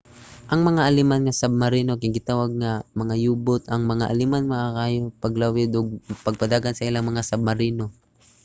ang mga aleman nga submarino kay gitawag nga mga u-boat. ang mga aleman maayo kaayo sa paglawig ug pagpadagan sa ilang mga submarino